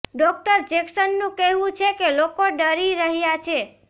doctor જેક્સનનું કહેવું છે કે લોકો ડરી રહ્યા છે